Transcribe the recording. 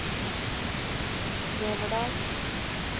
Neverdal